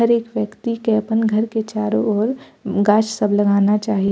हरेक व्यक्ति के अपन घर के चारो और गाछ सब लगाना चाहि।